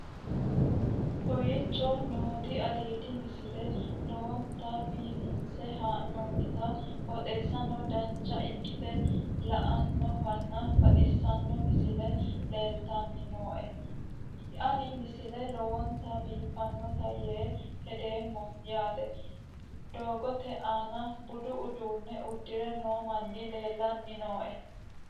kowicho nooti aliidi misile lowonta biifinse haa'noonniti qooxeessano dancha ikkite la'annohano baxissanno misile leeltanni nooe ini misile lowonta biifffinnote yee hedeemmo yaate doogote aana budu uduunne uddire noo manni leellanni nooe